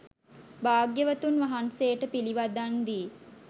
භාග්‍යවතුන් වහන්සේට පිළිවදන් දී